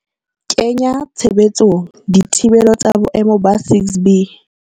kenya tshebetsong dithibelo tsa boemo ba 6B.